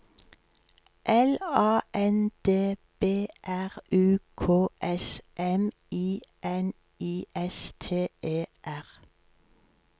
L A N D B R U K S M I N I S T E R